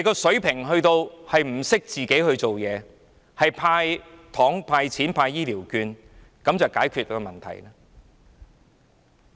水平低至不懂怎樣去做，要"派糖"、"派錢"、派醫療券，以為這樣便可以解決問題。